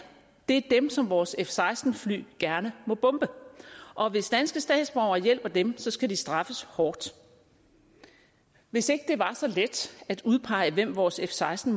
det er dem som vores f seksten fly gerne må bombe og hvis danske statsborgere hjælper dem skal de straffes hårdt hvis ikke det var så let at udpege hvem vores f seksten